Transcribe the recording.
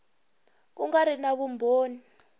ku nga ri na vumbhoni